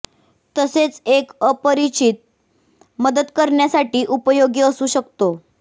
तसेच एक अपरिचित मदत करण्यासाठी उपयोगी असू शकतो